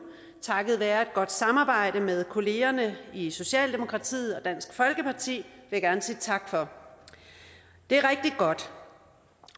takket være et godt samarbejde med kollegerne i socialdemokratiet og dansk folkeparti det jeg gerne sige tak for det er rigtig godt